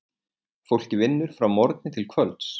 Fólkið vinnur frá morgni til kvölds.